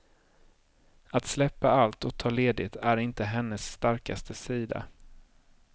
Att släppa allt och ta ledigt är inte hennes starkaste sida.